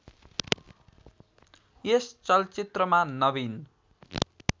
यस चलचित्रमा नवीन